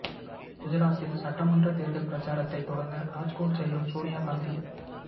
குஜராத்தில் சட்டமன்றத் தேர்தல் பிரச்சாரத்தைத் தொடங்க ராஜ்கோட் செல்லும் சோனியா காந்தி